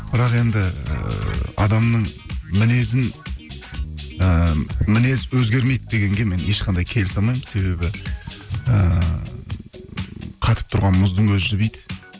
бірақ енді ііі адамның мінезін ііі мінез өзгермейді дегенге мен ешқандай келісе алмаймын себебі ііі қатып тұрған мұздың өзі жібиді